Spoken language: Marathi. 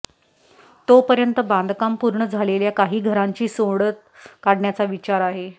तोपर्यंत बांधकाम पूर्ण झालेल्या काही घरांची सोडत काढण्याचा विचार आहे